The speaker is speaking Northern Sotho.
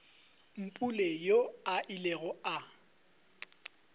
mpule yoo a ilego a